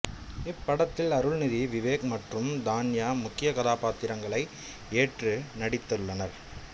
இப்படத்தில் அருள்நிதி விவேக் மற்றும் தான்யா முக்கிய கதாபாத்திரங்களை ஏற்று நடித்துள்ளனர்